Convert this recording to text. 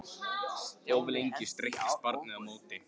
Of lengi streittist barnið á móti